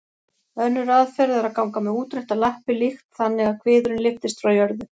Önnur aðferð er að ganga með útréttar lappir líkt þannig að kviðurinn lyftist frá jörðu.